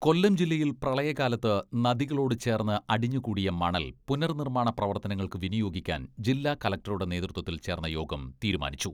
കൊല്ലം ജില്ലയിൽ പ്രളയകാലത്ത് നദികളോടു ചേർന്ന് അടിഞ്ഞു കൂടിയ മണൽ പുനർ നിർമ്മാണ പ്രവർത്തനങ്ങൾക്ക് വിനിയോഗിക്കാൻ ജില്ലാ കലക്ടറുടെ നേതൃത്വത്തിൽ ചേർന്ന യോഗം തീരുമാനിച്ചു.